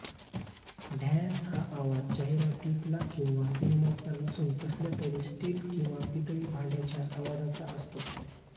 ढॅण्ण हा आवाज जाहीरातीतला किंवा सिनेमातला नसून कसल्या तरी स्टील किंवा पितळी भांड्याच्या आवाजाचा असतो